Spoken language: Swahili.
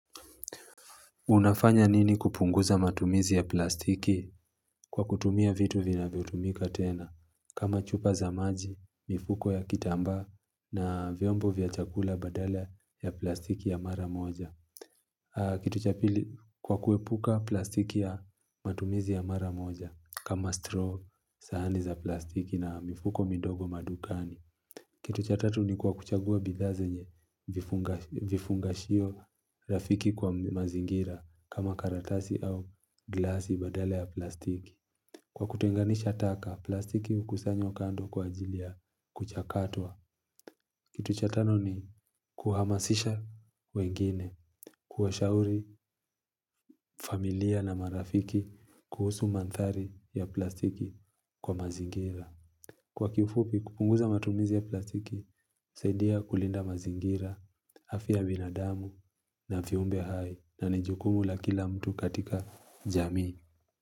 Unafanya nini kupunguza matumizi ya plastiki kwa kutumia vitu vinavyotumika tena. Kama chupa za maji, mifuko ya kitambaa na vyombo vya chakula badala ya plastiki ya mara moja. Kitu cha pili kwa kuepuka plastiki ya matumizi ya mara moja kama straw sahani za plastiki na mifuko mindogo madukani. Kitu cha tatu ni kwa kuchagua bidhaa zenye vifungashio rafiki kwa mazingira kama karatasi au glasi badale ya plastiki. Kwa kutenganisha taka, plastiki hukusanywa kando kwa ajilia kuchakatwa. Kitu cha tano ni kuhamasisha wengine, kuwa shauri familia na marafiki kuhusu manthari ya plastiki kwa mazingira. Kwa kuifupi, kupunguza matumizi ya platiki, husaidia kulinda mazingira, afia binadamu na viumbe hai na ni jukumu la kila mtu katika jamii.